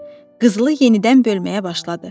Qızılı yenidən bölməyə başladı.